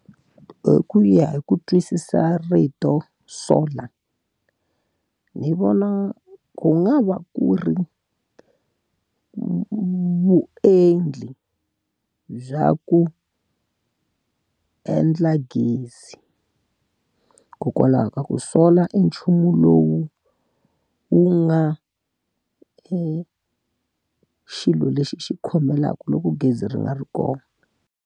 Hi ku ya hi ku twisisa rito solar, ni vona ku nga va ku ri vuendli bya ku endla gezi. Hikokwalaho ka ku solar i nchumu lowu wu nga xilo lexi xi khomelaka loko gezi ri nga ri kona.